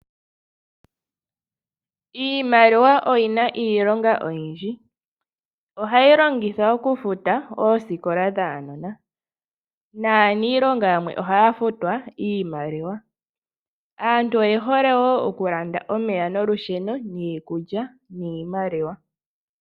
Iimaliwa oyina iilonga oyindji, ohayi longithwa oku futa oosikola dhaanona naaniilonga yamwe ohaya futwa iimaliwa. Aantu oye hole wo oku landa omeya nolusheno, niikulya niimaliwa.